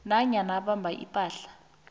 nanyana abamba ipahla